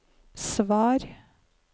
svar